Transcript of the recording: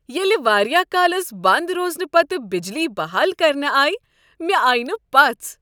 ییٚلہ واریاہ کالس بند روزنہٕ پتہٕ بجلی بحال کرنہٕ آیہ مےٚ آیہ نہٕ پژھ۔